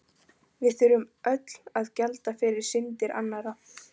Við þurfum öll að gjalda fyrir syndir annarra.